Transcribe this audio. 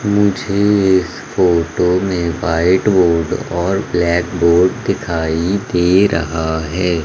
मुझे इस फोटो में व्हाइट बोर्ड और ब्लैक बोर्ड दिखाई दे रहा है।